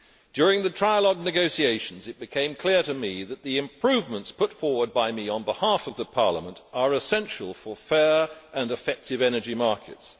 During the trialogue negotiations, it became clear to me that the improvements put forward by me on behalf of Parliament are essential for fair and effective energy markets.